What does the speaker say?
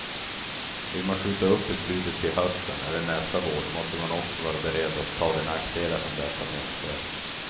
Vill man skjuta upp beslutet till hösten eller nästa vår måste man också vara beredd att ta de nackdelar som detta medför.